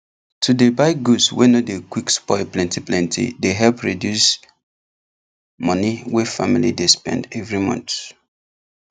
to dey buy goods wey no dey quick spoil plenty plenty dey help reduce money wey family dey spend every month